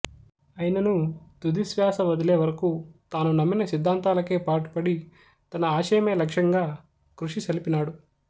అయిననూ తుదిశ్వాస వదిలే వరకు తాను నమ్మిన సిద్ధాంతాలకే పాటుపడి తన ఆశయమే లక్ష్యంగా కృషిసల్పినాడు